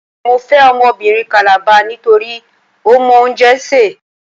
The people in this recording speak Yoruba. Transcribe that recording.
Mo fẹ́ ọmọbìnrin Kàlàba nítorí ó mọ oúnjẹ sè.